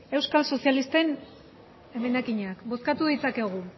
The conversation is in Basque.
euskal sozialisten emendakinak bozkatu ditzakegu